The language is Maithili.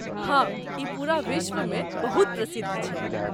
हँ, ई पूरा विश्वमे बहुत प्रसिद्ध छै।